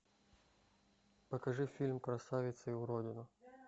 покажи фильм красавица и уродина